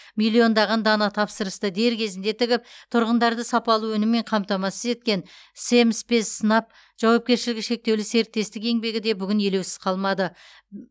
миллиондаған дана тапсырысты дер кезінде тігіп тұрғындарды сапалы өніммен қамтамасыз еткен семспецснаб жауапкершілігі шектеулі серіктестік еңбегі де бүгін елеусіз қалмады